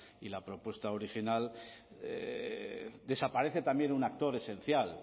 y la propuesta original desaparece también un actor esencial